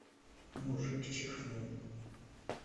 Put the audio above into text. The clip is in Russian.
мужик чихнул